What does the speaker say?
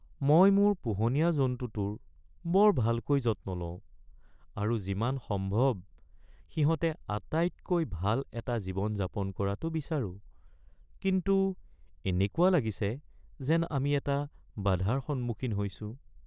মই মোৰ পোহনীয়া জন্তুটোৰ বৰ ভালকৈ যত্ন লওঁ আৰু যিমান সম্ভৱ সিহঁতে আটাইতকৈ ভাল এটা জীৱন যাপন কৰাটো বিচাৰোঁ, কিন্তু এনেকুৱা লাগিছে যেন আমি এটা বাধাৰ সন্মুখীন হৈছোঁ।